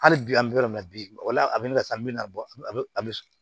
Hali bi an bɛ yɔrɔ min na bi o la a bɛ na sa min na bɔ a bɛ a bɛ